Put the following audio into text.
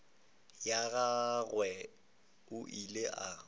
ya gagwe o ile a